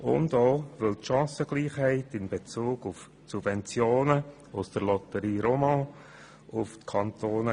Hinzu kommt, dass die Chancenungleichheit in Bezug auf die Subventionen aus der Loterie Romande auf die Kantone